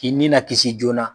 K'i ni na kisi joona na.